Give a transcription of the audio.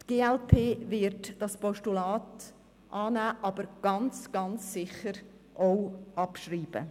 Die glp-Fraktion wird dieses Postulat annehmen, aber ganz, ganz sicher auch abschreiben.